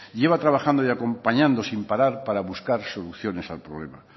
lleva trabajando y acompañando sin parar para buscar soluciones al problema